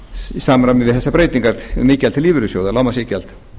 í samræmi við þessar breytingar um iðgjald til lífeyrissjóða lágmarksiðgjald